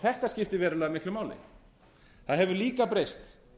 þetta skiptir verulega miklu máli það hefur líka breyst